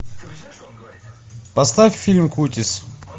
поставь фильм кутис